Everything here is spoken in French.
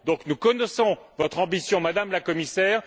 Nous connaissons votre ambition, Madame la Commissaire.